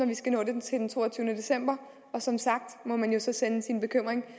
vi skal nå det til den toogtyvende december og som sagt må man jo så sende sin bekymring